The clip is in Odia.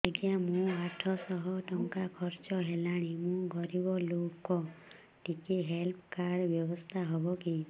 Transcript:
ଆଜ୍ଞା ମୋ ଆଠ ସହ ଟଙ୍କା ଖର୍ଚ୍ଚ ହେଲାଣି ମୁଁ ଗରିବ ଲୁକ ଟିକେ ହେଲ୍ଥ କାର୍ଡ ବ୍ୟବସ୍ଥା ହବ କି